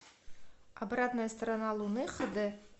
обратная сторона луны хд